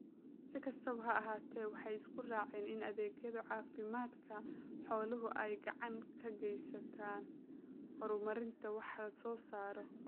Si kastaba ha ahaatee, waxay isku raaceen in adeegyada caafimaadka xooluhu ay gacan ka geystaan ??horumarinta wax soo saarka.